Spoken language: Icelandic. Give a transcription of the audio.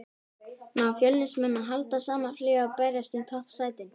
Ná Fjölnismenn að halda sama flugi og berjast um toppsætin?